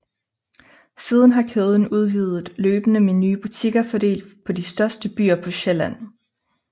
Siden har kæden udvidet løbende med nye butikker fordelt på de største byer på Sjælland